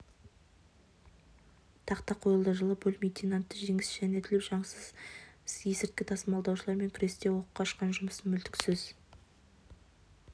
тақта қойылды жылы бөлім лейтенанты жеңіс жанәділов заңсыз есірткі тасымалдаушылармен күресте оққа ұшқан жұмысын мүлтіксіз